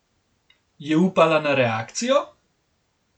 Je upala na reakcijo?